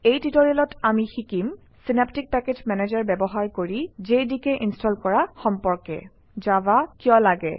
এই টিউটৰিয়েলত আমি শিকিম চিনাপ্টিক পেকেজ মেনেজাৰ ব্যৱহাৰ কৰি জেডিকে ইনষ্টল কৰা সম্পৰ্কে জাভা কিয় লাগে